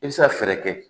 I bɛ se ka fɛɛrɛ kɛ